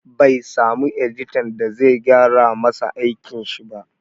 Bai samu editan da zai gyara masa aikin shi ba